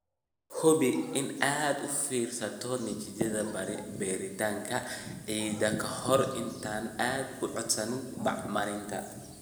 Hubi in aad u fiirsato natiijada baaritaanka ciidda ka hor inta aadan codsan bacriminta.